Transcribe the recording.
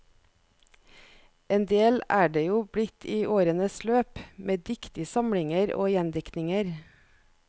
Endel er det jo blitt i årenes løp, med dikt i samlinger og gjendiktninger.